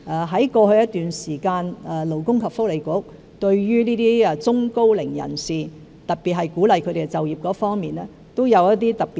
在過去一段時間，勞工及福利局對中高齡人士都有一些特別措施，特別在鼓勵他們就業方面。